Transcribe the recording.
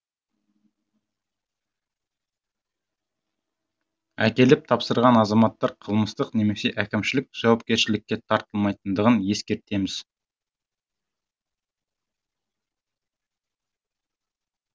әкеліп тапсырған азаматтар қылмыстық немесе әкімшілік жауапкершілікке тартылмайтындығын ескертеміз